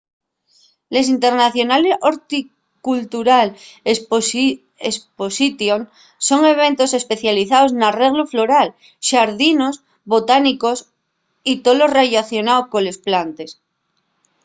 les international horticultural exposition son eventos especializaos n'arreglu floral xardinos botánicos y tolo rellacionao coles plantes